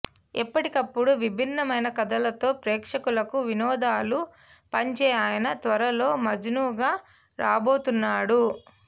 ఎప్పటికప్పుడు విభిన్నమైన కథలతో ప్రేక్షకులకు వినోదాలు పంచె అయన త్వరలో మజ్ను గా రాబోతున్నాడు